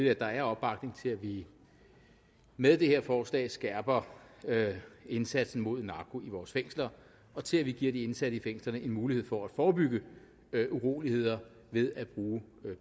at der er opbakning til at vi med det her forslag skærper indsatsen mod narko i vores fængsler og til at vi giver de ansatte i fængslerne en mulighed for at forebygge uroligheder ved at bruge